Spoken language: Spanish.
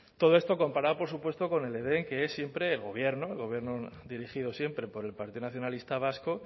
todo esto comparado por supuesto con el edén que es siempre el gobierno el gobierno dirigido siempre por el partido nacionalista vasco